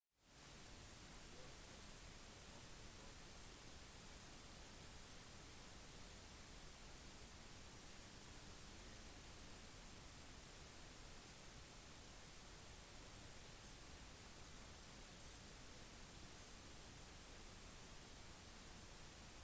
klokken 08:46 på sekundet det eksakte øyeblikket som det første flyet traff målet sitt falt en stillhet over byen